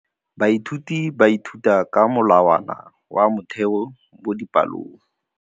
Baithuti ba ithuta ka molawana wa motheo mo dipalong.